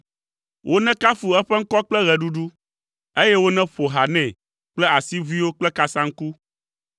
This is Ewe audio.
Wonekafu eƒe ŋkɔ kple ɣeɖuɖu, eye woneƒo ha nɛ kple asiʋuiwo kple kasaŋku.